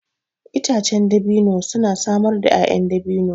Itacen dabino suna samar da 'ya'yan dabino.